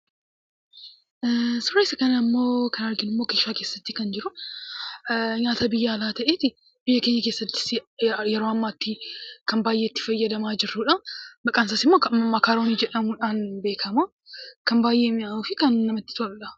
Suuraa kana irratti kan argaa jirru keeshaa keessatti nyaata biyyaa alaatti beekamaa ta'ee fi biyya keenya keessatti hedduminaan kan itti fayyadamnuu dha. Maqaan isaas makaroonii dha. Innis kan baayyee mi'aawwuu fi kan namatti toluu dha.